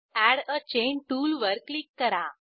add a chain टूलवर click करा